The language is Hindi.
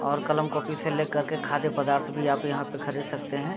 और कलम-कॉपी से ले कर के खाद्य पदार्थ भी आप यहाँ पे खरीद सकते हैं |